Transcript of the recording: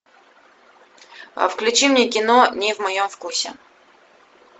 а включи мне кино не в моем вкусе